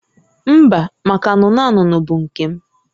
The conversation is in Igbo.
Mba, maka anụnụ anụnụ bụ nke m